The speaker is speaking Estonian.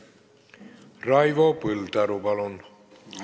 Raivo Põldaru, palun!